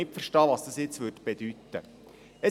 Sie verstünden nicht, was das jetzt bedeuten würde.